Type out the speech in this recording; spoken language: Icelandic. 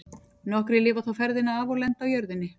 Nokkrir lifa þó ferðina af og lenda á jörðinni.